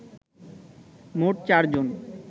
মোট চারজন